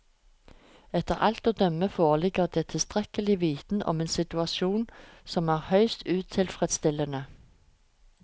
Etter alt å dømme foreligger det tilstrekkelig viten om en situasjon som er høyst utilfredsstillende.